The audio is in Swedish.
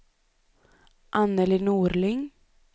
Annelie Norling